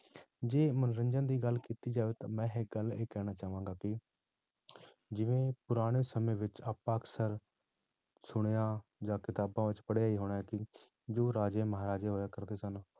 ਜੇ ਮਨੋਰੰਜਨ ਦੀ ਗੱਲ ਕੀਤੀ ਜਾਵੇ ਤਾਂ ਮੈਂ ਇੱਕ ਗੱਲ ਇਹ ਕਹਿਣਾ ਚਾਹਾਂਗਾ ਕਿ ਜਿਵੇਂ ਪੁਰਾਣੇ ਸਮੇਂ ਵਿੱਚ ਆਪਾਂ ਅਕਸਰ ਸੁਣਿਆ ਜਾਂ ਕਿਤਾਬਾਂ ਵਿੱਚ ਪੜ੍ਹਿਆ ਹੀ ਹੋਣਾ ਕਿ ਜੋ ਰਾਜੇ ਮਹਾਰਾਜੇ ਹੋਇਆ ਕਰਦੇ ਸਨ,